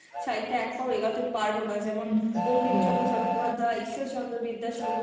সাহিত্যে এক পাও এগোতে পারব না যেমন বঙ্কিম চন্দ্র চট্টোপাধ্যায়, ইশ্বর চন্দ্র বিদ্যাসাগর,